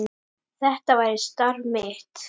Þetta væri starf mitt.